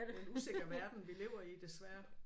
Det er en usikker verden vi lever i desværre